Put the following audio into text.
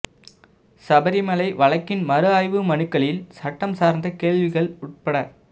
சபரிமலை வழக்கின் மறுஆய்வு மனுக்களில் சட்டம் சார்ந்த கேள்விகள் உட்பட